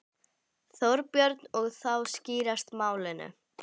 Þorbjörn: Og þá skýrast málin?